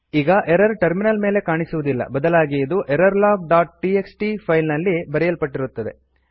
ಈಗ error terminal ಮೇಲೆ ಕಾಣಿಸುವುದಿಲ್ಲ ಬದಲಾಗಿ ಇದು ಎರರ್ಲಾಗ್ ಡಾಟ್ ಟಿಎಕ್ಸ್ಟಿ ಫೈಲ್ ನಲ್ಲಿ ಬರೆಯಲ್ಪಟ್ಟಿರುತ್ತದೆ